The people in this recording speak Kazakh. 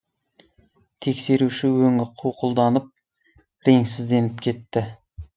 тексеруші өңі қуқылданып реңсізденіп кетті